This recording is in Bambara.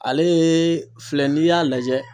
Ale filɛ n'i y'a lajɛ.